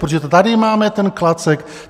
Protože tady máme ten klacek.